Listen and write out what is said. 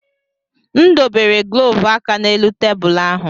M dobere glọvu aka n'elu tebụl ahụ.